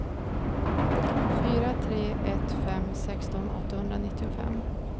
fyra tre ett fem sexton åttahundranittiofem